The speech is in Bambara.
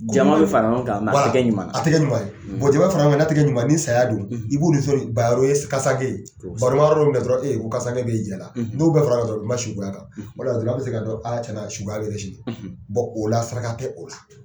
Jama bɛ fara ɲɔgɔn kan a tɛ kɛ ɲuman ye, jama fara ɲɔgɔn kan n'a tɛ kɛ ɲuman ye, ni saya don i b'u ye kasange, o la saraka tɛ o la